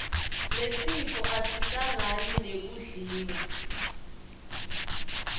lesifo asihlangani nekudliwa